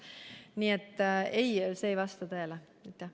Nii et ei, see ei vasta tõele.